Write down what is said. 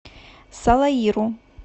салаиру